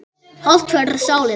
Hollt fyrir sálina.